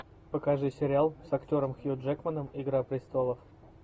покажи сериал с актером хью джекманом игра престолов